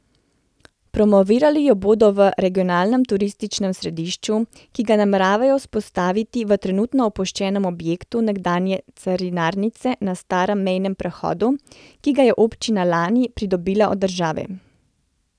Promovirali jo bodo v regionalnem turističnem središču, ki ga nameravajo vzpostaviti v trenutno opuščenem objektu nekdanje carinarnice na starem mejnem prehodu, ki ga je občina lani pridobila od države.